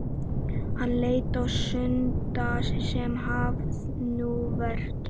Hann leit á Skunda sem svaf nú vært.